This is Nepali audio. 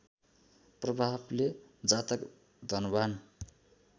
प्रभावले जातक धनवान्